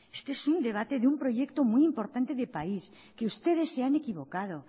este es un debate de un proyecto muy importante de país que ustedes se han equivocado